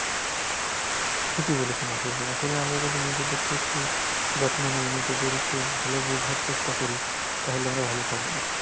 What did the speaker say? ঠিকই বলেছেন আসলে, আসলে আমরা যদি নিজেদেরকে একটু, যত্ন নেই নিজেদের একটু ভালো বুঝার চেষ্টা করি তাহলে আমরা ভালো থাকবো।